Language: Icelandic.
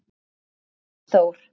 Hannes Þór.